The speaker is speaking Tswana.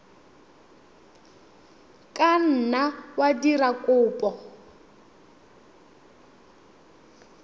ka nna wa dira kopo